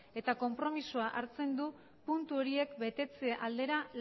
eta konpromezua hartzen du puntu horiek betetze aldera